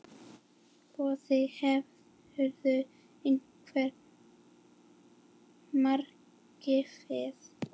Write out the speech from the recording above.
Boði: Hefurðu einhver markmið?